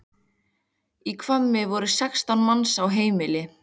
Í Hvammi voru sextán manns í heimili.